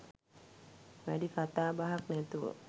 වැඩි කතා බහක් නැතුව